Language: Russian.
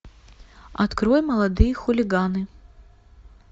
открой молодые хулиганы